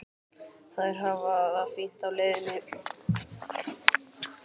Þær hafa það fínt á leiðinni.